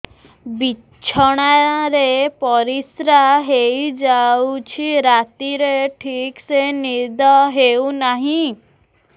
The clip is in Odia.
ବିଛଣା ରେ ପରିଶ୍ରା ହେଇ ଯାଉଛି ରାତିରେ ଠିକ ସେ ନିଦ ହେଉନାହିଁ